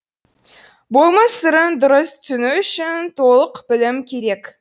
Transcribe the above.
болмыс сырын дұрыс түсіну үшін толық білім керек